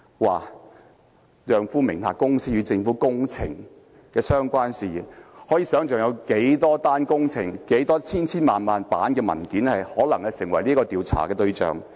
她的丈夫名下公司與政府工程的相關事宜，可以想象會有多少宗工程，以及成千上萬份文件可能成為調查對象。